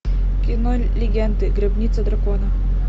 кино легенды гробница дракона